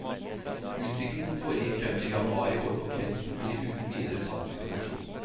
Utviklingen foregikk frem til januar i år, og kretsen blir uten videre satt i produksjon.